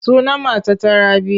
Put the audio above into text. Sunan matata Rabi.